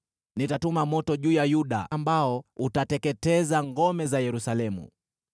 Nitatuma moto juu ya Yuda ambao utateketeza ngome za Yerusalemu.”